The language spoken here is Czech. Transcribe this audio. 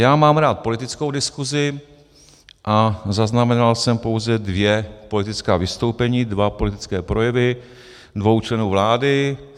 Já mám rád politickou diskusi a zaznamenal jsem pouze dvě politická vystoupení, dva politické projevy dvou členů vlády.